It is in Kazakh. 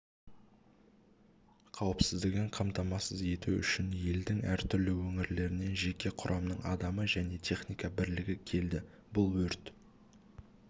қауіпсіздігін қамтамасыз ету үшін елдің әртүрлі өңірлерінен жеке құрамның адамы және техника бірлігі келді бұл өрт